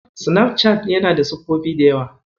Sinafcat yana da siffofi da yawa.